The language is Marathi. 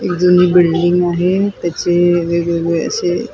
एक जुनी बिल्डिंग आहे त्याचे वेगवेगळे असे --